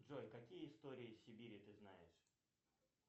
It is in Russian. джой какие истории сибири ты знаешь